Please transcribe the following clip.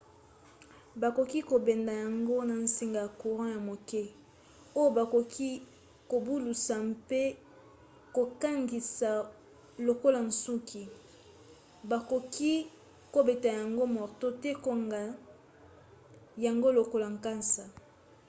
bakoki kobenda yango na nsinga ya courant ya moke oyo bakoki kobalusa mpe kokangisa lokola nsuki. bakoki kobeta yango marto to kokanga yango lokola nkasa